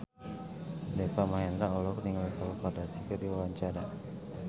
Deva Mahendra olohok ningali Khloe Kardashian keur diwawancara